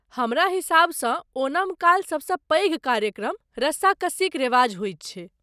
हमरा हिसाबसँ ओणम काल सभसँ पैघ कार्यक्रम रस्साकसीक रेवाज होइत छै।